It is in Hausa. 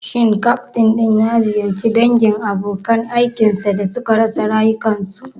Shin ƙyaftin din ya ziyarci dangin abokan aikin sa da suka rasa rayukansu?